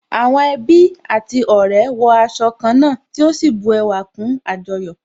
Àwọn ẹbí àti ọ̀rẹ́ wọ aṣọ ká náà tí ó sì bu ẹwà kún àjọyọ̀